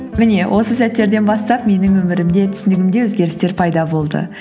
міне осы сәттерден бастап менің өмірімде түсінігімде өзгерістер пайда болды